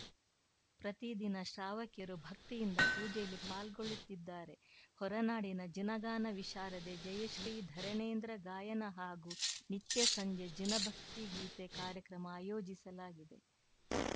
ಪ್ರತಿ ದಿನ ಶ್ರಾವಕಿಯರು ಭಕ್ತಿಯಿಂದ ಪೂಜೆಯಲ್ಲಿ ಪಾಲ್ಗೊಳ್ಳುತ್ತಿದ್ದಾರೆ ಹೊರನಾಡಿನ ಜಿನಗಾನ ವಿಶಾರದೆ ಜಯಶ್ರೀಧರಣೇಂದ್ರ ಗಾಯನ ಹಾಗೂ ನಿತ್ಯ ಸಂಜೆ ಜಿನ ಭಕ್ತಿ ಗೀತೆ ಕಾರ್ಯಕ್ರಮ ಆಯೋಜಿಸಲಾಗಿದೆ